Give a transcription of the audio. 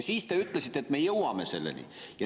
Siis te ütlesite, et me jõuame selleni.